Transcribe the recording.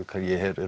ég heyri